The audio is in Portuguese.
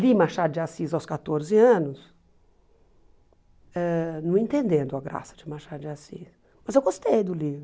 Li Machado de Assis aos quatorze anos, ãh não entendendo a graça de Machado de Assis, mas eu gostei do livro.